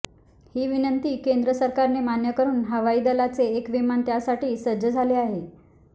ही विनंती केंद्र सरकारने मान्य करून हवाई दलाचे एक विमान त्यासाठी सज्ज झाले आहे